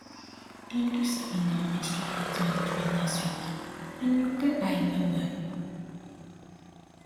dem do seminar on menstrual health management last week and eye wellwell